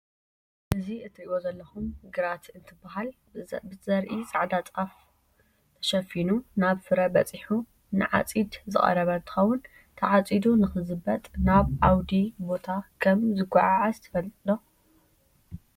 እዚ እትሪእዎ ዘለኹም ግራት እንትብሃል በዘርኢ ፃዕዳ ጣፍ ተሸፊኑ ናብ ፍረ በፂሑ ንዓፂድ ዝቀረበ እንትኸውን ተዓፂዱ ንክዝበጥ ናብ ኣውዲ ቦታ ከም ዝጓዓዓዝ ትፈልጥ ዶ?